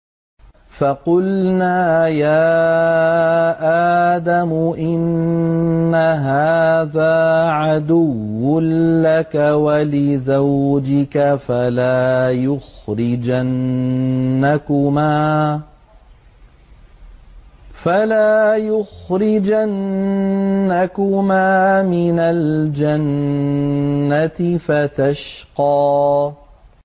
فَقُلْنَا يَا آدَمُ إِنَّ هَٰذَا عَدُوٌّ لَّكَ وَلِزَوْجِكَ فَلَا يُخْرِجَنَّكُمَا مِنَ الْجَنَّةِ فَتَشْقَىٰ